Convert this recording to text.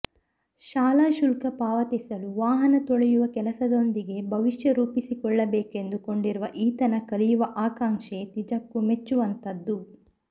ಶಾಲಾ ಶುಲ್ಕ ಪಾವತಿಸಲು ವಾಹನ ತೊಳೆಯುವ ಕೆಲಸದೊಂದಿಗೆ ಭವಿಷ್ಯ ರೂಪಿಸಿಕೊಳ್ಳಬೇಕೆಂದು ಕೊಂಡಿರುವ ಈತನ ಕಲಿಯುವ ಆಕಾಂಕ್ಷೆ ನಿಜಕ್ಕೂ ಮೆಚ್ಚುವಂತದ್ದು